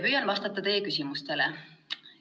Püüan vastata teie küsimustele.